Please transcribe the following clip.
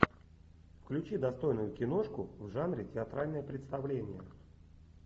включи достойную киношку в жанре театральное представление